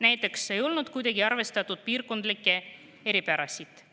Näiteks ei olnud kuidagi arvestatud piirkondlikke eripärasid.